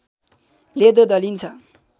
लेदो दलिन्छ